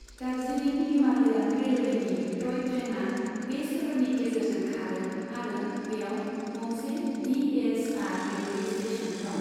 दार्जिलिं हिमालयान रेलवेनि टय ट्रेनआ बे सोहोरनि गेजेरजों खारो आरो बेयाव गंसे D H R railway station दं।